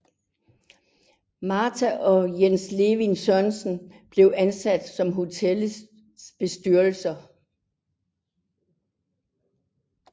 Martha og Jens Levin Sørensen blev ansat som hotel bestyrere